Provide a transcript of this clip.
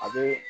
A bee